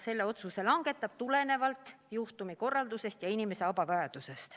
Selle otsuse langetab ta tulenevalt juhtumikorraldusest ja inimese abivajadusest.